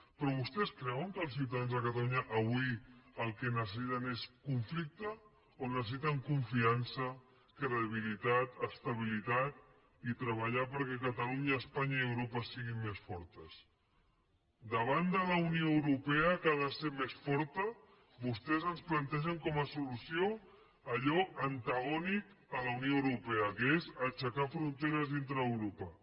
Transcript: però vostès creuen que els ciutadans de catalunya avui el que necessiten és conflicte o necessiten confiança credibilitat estabilitat i treballar perquè catalunya espanya i europa siguin més fortes davant de la unió europea que ha de ser més forta vostès ens plantegen com a solució allò antagònic a la unió europea que és aixecar fronteres dintre d’europa